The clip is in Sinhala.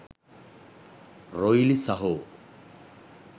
රොයිලි සහෝ.